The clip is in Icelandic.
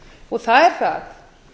og það er það